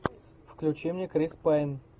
включи мне крис пайн